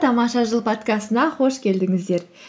тамаша жыл подкастына қош келдіңіздер